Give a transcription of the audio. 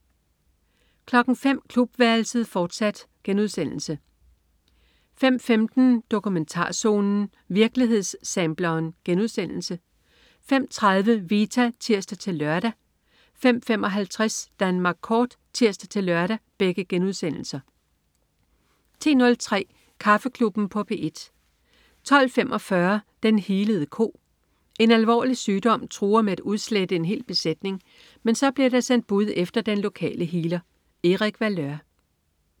05.00 Klubværelset, fortsat* 05.15 Dokumentarzonen. Virkelighedssampleren* 05.30 Vita* (tirs-lør) 05.55 Danmark kort* (tirs-lør) 10.03 Kaffeklubben på P1 12.45 Den healede ko. En alvorlig sygdom truer med at udslette en hel besætning, men så bliver der sendt bud efter den lokale healer. Erik Valeur